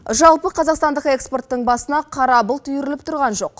жалпы қазақстандық экспорттың басына қара бұлт үйіріліп тұрған жоқ